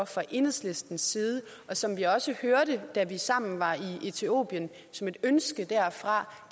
fra enhedslistens side og som vi også hørte da vi sammen var i etiopien som et ønske derfra